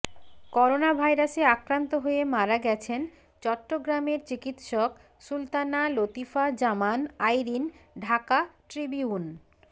করোনাভাইরাসে আক্রান্ত হয়ে মারা গেছেন চট্টগ্রামের চিকিৎসক সুলতানা লতিফা জামান আইরিন ঢাকা ট্রিবিউন